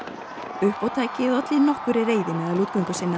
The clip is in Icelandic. uppátækið olli nokkurri reiði meðal